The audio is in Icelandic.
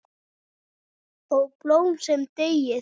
Ó, blóm sem deyið!